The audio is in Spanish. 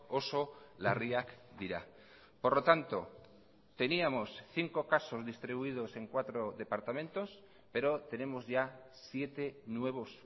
oso larriak dira por lo tanto teníamos cinco casos distribuidos en cuatro departamentos pero tenemos ya siete nuevos